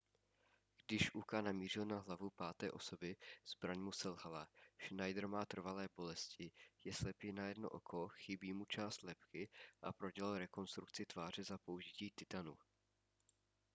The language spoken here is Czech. když uka namířil na hlavu páté osoby zbraň mu selhala schneider má trvalé bolesti je slepý na jedno oko chybí mu část lebky a prodělal rekonstrukci tváře za použití titanu